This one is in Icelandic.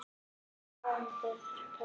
Margir á áheyrendapöllum